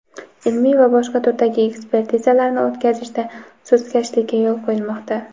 ilmiy va boshqa turdagi ekspertizalarini o‘tkazishda sustkashlikka yo‘l qo‘yilmoqda.